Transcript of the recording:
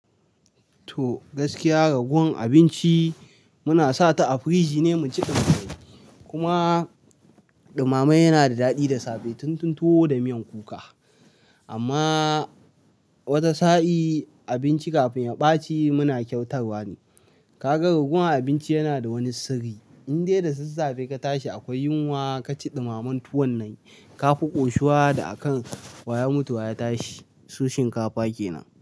To, gaskiya ragowan abinci muna sa ta a firiji ne mu ci ɗumame. Kuma ɗumame yana da daɗi da safe tun tun tuwo da miyan kuka. Amma wata sa'i abinci kafin ya ɓaci muna kyautarwa ne. Kaga ragowan abinci yana da wani sirri. Inde da sassafe ka tashi akwai yunwa ka ci ɗumamamen tuwon nan. Ka fi ƙoshuwa da a kan waya mutuwa ya tashi. Su shinkafa kenan.